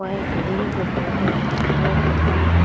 वहाँ एक दिल पर बैठा हुआ मोर का पंख --